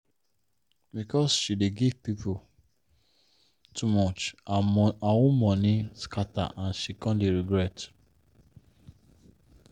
because she dey give people too much her own money scatter and she come dey regret.